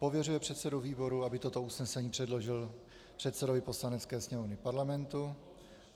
Pověřuje předsedu výboru, aby toto usnesení předložil předsedovi Poslanecké sněmovny Parlamentu.